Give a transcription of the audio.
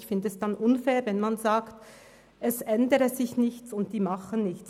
Ich finde es unfair, zu sagen, es ändere sich nichts und die Schule unternehme nichts.